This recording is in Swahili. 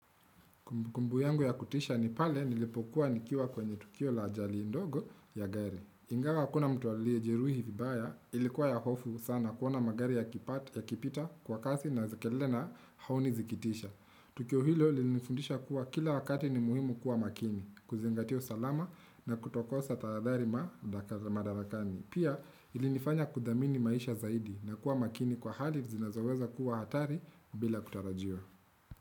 Kumbukumbu yangu ya kutisha ni pale nilipokuwa nikiwa kwenye tukio la jali indogo ya gari. Ingawa akuna mtu aliejiruhi vibaya ilikuwa ya hofu sana kuona magari yakipita kwa kasi na zikele na haoni zikitisha. Tukio hilo linifundisha kuwa kila wakati ni muhimu kuwa makini, kuzingatia salama na kutokosa tadarima madarakani. Pia ilinifanya kudhamini maisha zaidi na kuwa makini kwa hali zinazoweza kuwa hatari bila kutarajua.